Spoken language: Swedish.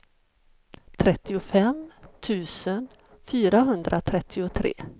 trettiofem tusen fyrahundratrettiotre